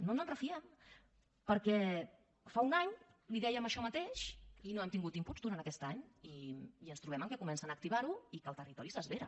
no ens en refiem perquè fa un any li dèiem això mateix i no hem tingut inputs durant aquest any i ens trobem que comencen a activar ho i que el territori s’esvera